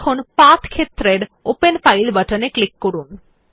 এখন পাথ ক্ষেত্রের open file বাটনে ক্লিক করুন